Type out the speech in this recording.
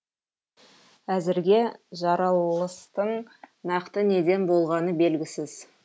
әзірге жарылыстың нақты неден болғаны белгісіз